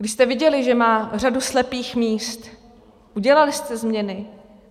Když jste viděli, že má řadu slepých míst, udělali jste změny?